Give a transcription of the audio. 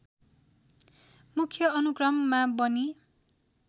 मुख्य अनुक्रममा बनी